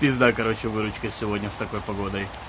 пизда короче выручка сегодня с такой погодой